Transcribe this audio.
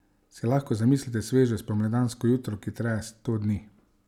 Si lahko zamislite sveže spomladansko jutro, ki traja sto dni?